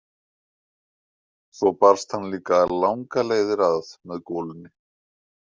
Svo barst hann líka langar leiðir að með golunni.